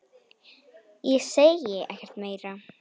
Ég segi ekkert meira.